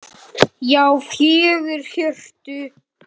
Já, fjögur HJÖRTU!